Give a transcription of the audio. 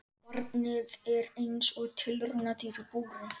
Barnið er eins og tilraunadýr í búri.